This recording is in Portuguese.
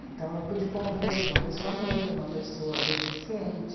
Então, eu pude conviver com uma pessoa negra, uma pessoa deficiente.